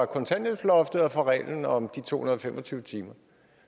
kontanthjælpsloftet og fra reglen om de to hundrede og fem og tyve timer